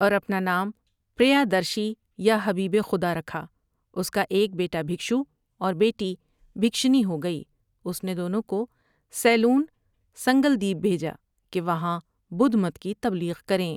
اور اپنا نام پر یاد رشی یا حبیب خدا رکھا اس کا ایک بیٹا بھکشو اور بیٹی بھکشنی ہو گئی اس نے دونوں کو سیلون سنگلدیب بھیجا کہ وہاں بدھ مت کی تبلیغ کریں ۔